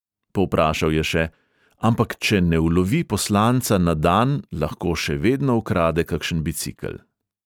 Povprašal je še: "ampak če ne ulovi poslanca na dan, lahko še vedno ukrade kakšen bicikel."